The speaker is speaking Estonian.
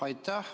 Aitäh!